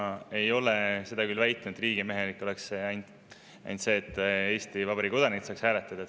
Ma ei ole seda küll väitnud, et riigimehelik oleks see, et ainult Eesti Vabariigi kodanikud saaks hääletada.